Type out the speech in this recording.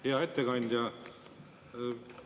Hea ettekandja!